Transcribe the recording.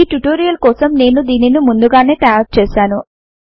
ఈ ట్యుటోరియల్ కోసం నేను దీనిని ముందుగానే తయారు చేసాను